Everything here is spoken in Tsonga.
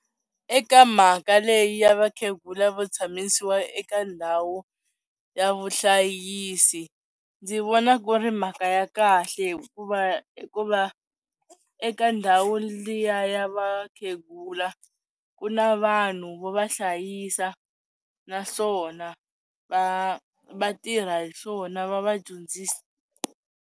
Eka mhaka leyi ya vakhegula vo tshamisiwa eka ndhawu ya vuhlayisi, ndzi vona ku ri mhaka ya kahle hikuva hikuva eka ndhawu liya ya va khegula ku na vanhu vo va hlayisa naswona va va tirha hi swona va va dyondzisa.